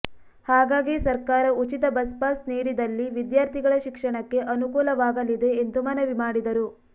ಹಾಗಾಗಿ ಸರ್ಕಾರ ಉಚಿತ ಬಸ್ಪಾಸ್ ನೀಡಿದಲ್ಲಿ ವಿದ್ಯಾರ್ಥಿಗಳ ಶಿಕ್ಷಣಕ್ಕೆ ಅನುಕೂಲವಾಗಲಿದೆ ಎಂದು ಮನವಿ ಮಾಡಿದರು